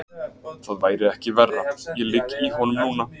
Það væri ekki verra, ég ligg í honum núna.